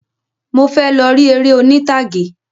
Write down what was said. Mo fẹ lọ ri eré oní'tàgé.